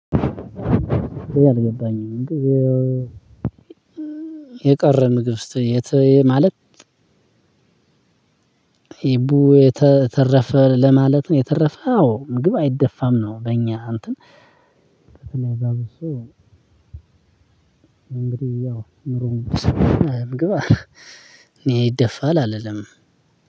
ይሄ አልገባኝም። የቀረ ምግብ ስትለኝ የት? ማለት ኢቡ የተረፈ ለማለት ነው። የተረፈ አዎ ምግብ አይደፋም ነው። በእኛ እንትን። እንግዲህ ያው ኑሮውን ምግባ እኔ ይደፋል አልልም።